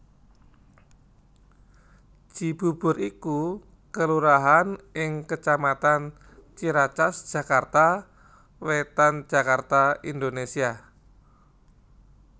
Cibubur iku kelurahan ing kecamatan Ciracas Jakarta Wétan Jakarta Indonésia